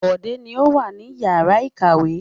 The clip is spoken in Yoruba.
Bọ̀dé ni ó wà ní ìyàrá-ìkàwé.